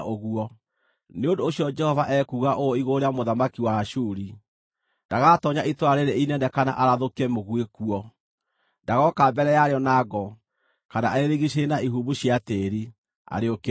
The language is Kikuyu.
“Nĩ ũndũ ũcio Jehova ekuuga ũũ igũrũ rĩa mũthamaki wa Ashuri: “Ndagatoonya itũũra rĩĩrĩ inene kana arathũkie mũguĩ kuo. Ndagooka mbere yarĩo na ngo kana arĩrigiicĩrie na ihumbu cia tĩĩri, arĩũkĩrĩre.